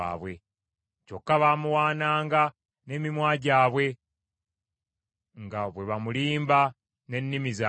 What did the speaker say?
Kyokka baamuwaananga n’emimwa gyabwe, nga bwe bamulimba n’ennimi zaabwe,